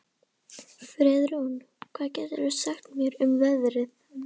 Friðrún, hvað geturðu sagt mér um veðrið?